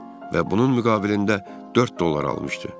Və bunun müqabilində 4 dollar almışdı.